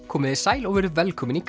komiði sæl og verið velkomin í